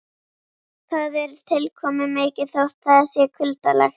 Það er tilkomumikið þótt það sé kuldalegt.